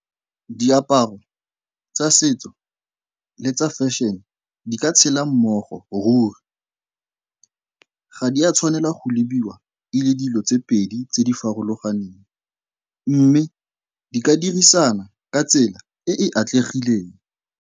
Diaparo tsa setso le tsa fashion di ka tshela mmogo ruri. Ga di a tshwanela go lebiwa e le dilo tse pedi tse di farologaneng mme di ka dirisana ka tsela e e atlegileng.